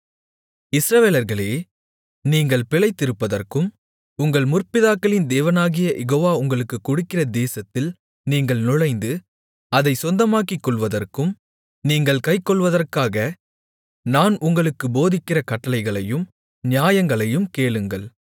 இஸ்ரவேலர்களே நீங்கள் பிழைத்திருப்பதற்கும் உங்கள் முற்பிதாக்களின் தேவனாகிய யெகோவா உங்களுக்குக் கொடுக்கிற தேசத்தில் நீங்கள் நுழைந்து அதைச் சொந்தமாக்கிக் கொள்வதற்கும் நீங்கள் கைக்கொள்வதற்காக நான் உங்களுக்குப் போதிக்கிற கட்டளைகளையும் நியாயங்களையும் கேளுங்கள்